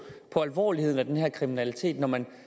alvorligheden af den her kriminalitet når man